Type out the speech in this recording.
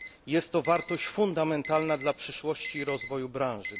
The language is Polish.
Jest to wartość fundamentalna dla przyszłości i rozwoju branży.